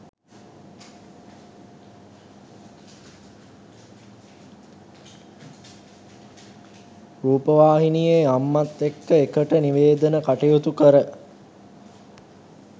රූපවාහිනියේ අම්මත් එක්ක එකට නිවේදන කටයුතු කර